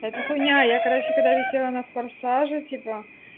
это хуйня я короче когда висела на форсаже типа